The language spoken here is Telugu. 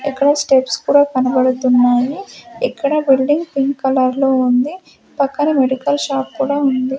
ఇక్కడ స్టెప్స్ కూడా కనబడుతున్నాయి ఇక్కడ బిల్డింగ్ పింక్ కలర్ లో ఉంది పక్కన మెడికల్ షాప్ కూడా ఉంది.